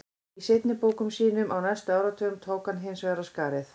Í seinni bókum sínum á næstu áratugum tók hann hins vegar af skarið.